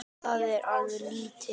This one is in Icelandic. Það er ekkert lítið!